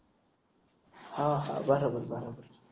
हा हा बरोबर बरोबर